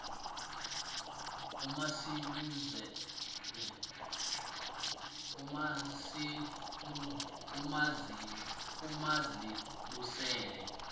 umazibusele